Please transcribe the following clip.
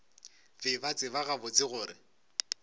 be ba tseba gabotse gore